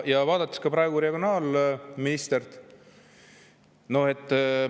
Vaatan praegu regionaalministrit.